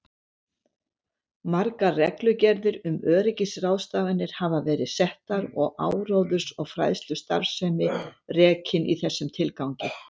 Margar reglugerðir um öryggisráðstafanir hafa verið settar og áróðurs- og fræðslustarfsemi rekin í þessum tilgangi.